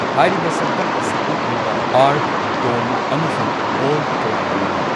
ꯍꯥꯏꯔꯤꯕ ꯁꯛꯇꯝ ꯑꯁꯤ ꯎꯠꯂꯤꯕ ꯑꯥꯔꯛ, ꯗꯣꯝ ꯑꯃꯁꯨꯡ ꯚꯣꯜꯠ ꯀꯌꯥ ꯂꯩꯔꯤ꯫